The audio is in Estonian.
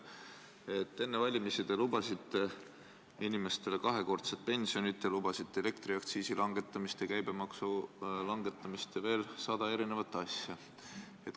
Enne valimisi te lubasite inimestele kahekordset pensioni, lubasite elektriaktsiisi langetamist ja käibemaksu langetamist ning veel sadat asja.